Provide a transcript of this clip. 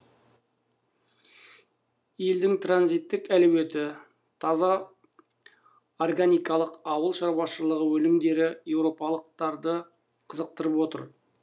елдің транзиттік әлеуеті таза органикалық ауыл шаруашылығы өнімдері еуропалықтарды қызықтырып отыр